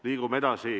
Liigume edasi.